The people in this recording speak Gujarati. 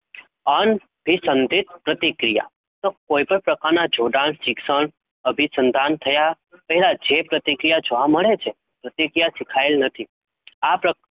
અન્ન વિસંધિત પ્રતિક્રિયા તો કોઈપણ પ્રકારના જોડાણ શિક્ષણ અભિસંધાન થયા પહેલા જે પ્રતિક્રિયા જોવા મળે છે પ્રતિક્રિયા શીખાયેલ નથી આ પ્ર